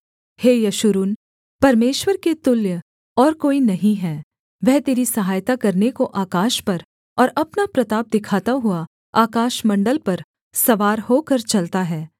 हे यशूरून परमेश्वर के तुल्य और कोई नहीं है वह तेरी सहायता करने को आकाश पर और अपना प्रताप दिखाता हुआ आकाशमण्डल पर सवार होकर चलता है